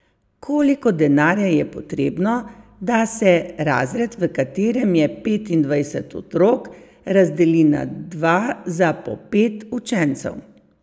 Koliko denarja je potrebno, da se razred, v katerem je petindvajset otrok, razdeli na dva za po pet učencev?